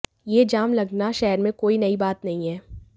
यह जाम लगना शहर में कोई नई बात नहीं है